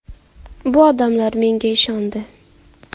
Bu odamlar menga ishondi.